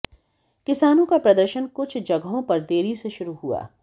किसानों का प्रदर्शन कुछ जगहों पर देरी से शुरू हुआ